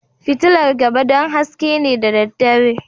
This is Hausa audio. Fitilar gaba don haske ne da daddare